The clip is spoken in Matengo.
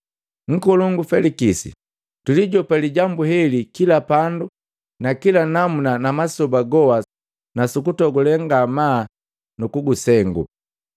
Nkolongu Felikisi, tulijopa lijambu heli kila pandu na kila namuna na masoba goha nusukutogule ngamaa nukukusengu.